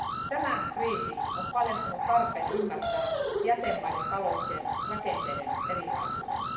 Tämä kriisi on paljastanut tarpeen ymmärtää jäsenvaltioiden talouksien rakenteiden erilaisuuden.